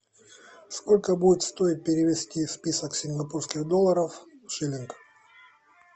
сколько будет стоить перевести список сингапурских долларов в шиллинг